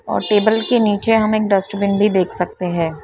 और टेबल के नीचे हम एक डस्टबिन भी देख सकते हैं ।